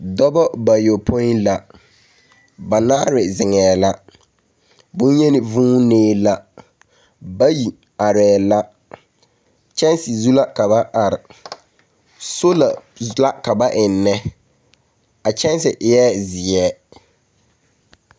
Dɔbɔ bayɔpoi la, banaare zeŋɛɛ la, boŋyeni vuunee la, bayi arɛɛ la. Kyɛnse zuŋ la ka ba are. Soola la ka ba ennɛ. A kyɛnse eɛ zeɛ.